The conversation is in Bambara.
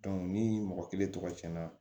ni mɔgɔ kelen tɔgɔ cɛn na